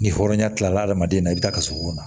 Ni hɔrɔnya tila adamaden na i bi taa ka sogo kɔnɔ